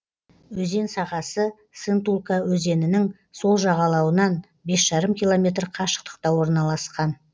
өзен сағасы сынтулка өзенінің сол жағалауынан бес жарым километр қашықтықта орналасқан